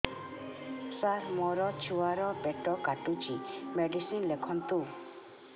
ସାର ମୋର ଛୁଆ ର ପେଟ କାଟୁଚି ମେଡିସିନ ଲେଖନ୍ତୁ